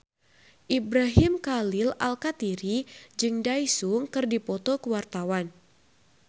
Ibrahim Khalil Alkatiri jeung Daesung keur dipoto ku wartawan